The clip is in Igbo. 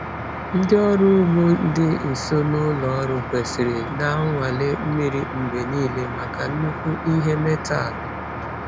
Ndị ọrụ ugbo dị nso na ụlọ ọrụ kwesịrị na-anwale mmiri mgbe niile maka nnukwu ihe metal.